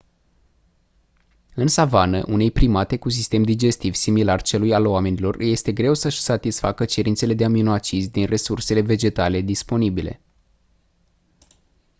în savană unei primate cu sistem digestiv similar celui al oamenilor îi este greu să-și satisfacă cerințele de aminoacizi din resursele vegetale disponibile